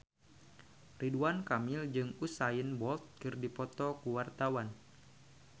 Ridwan Kamil jeung Usain Bolt keur dipoto ku wartawan